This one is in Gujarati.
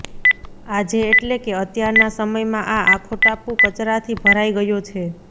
આજે એટલે કે અત્યારના સમયમાં આ આખો ટાપુ કચરાથી ભરાઇ ગયો છે